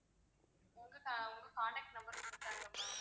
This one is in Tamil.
உங்க உங்க contact number கொடுத்தாங்க ma'am